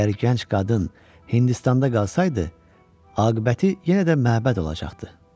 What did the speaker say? Əgər gənc qadın Hindistanda qalsaydı, aqibəti yenə də məbəd olacaqdı.